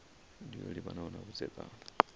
ndi yo livhanaho na vhudzekani